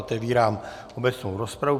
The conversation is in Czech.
Otevírám obecnou rozpravu.